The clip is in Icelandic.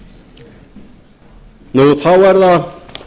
hætti þá er það